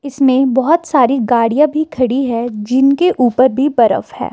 इसमें बहुत सारी गाड़ियां भी खड़ी है जिनके ऊपर भी बर्फ है।